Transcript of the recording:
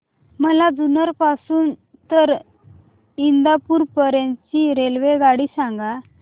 मला जुन्नर पासून तर इंदापूर पर्यंत ची रेल्वेगाडी सांगा